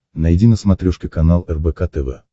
найди на смотрешке канал рбк тв